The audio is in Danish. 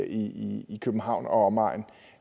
i i københavn og omegn